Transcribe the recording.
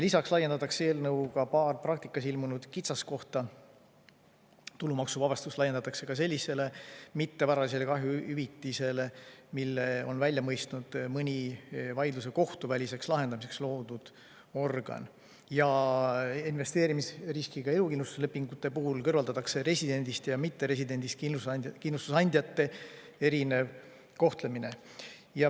Lisaks lahendatakse eelnõuga paar praktikas ilmnenud kitsaskohta: tulumaksuvabastus laiendatakse ka sellisele mittevaralise kahju hüvitisele, mille on välja mõistnud mõni vaidluse kohtuväliseks lahendamiseks loodud organ, ja investeerimisriskiga elukindlustuslepingute puhul kõrvaldatakse residendist ja mitteresidendist kindlustusandjate erinev kohtlemine.